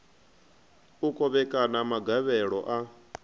u kovhekana ha magavhelo a